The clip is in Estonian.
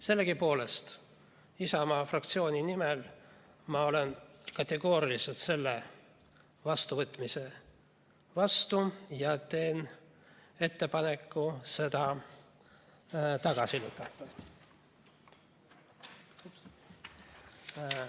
Sellegipoolest olen ma Isamaa fraktsiooni nimel kategooriliselt selle vastuvõtmise vastu ja teen ettepaneku see tagasi lükata.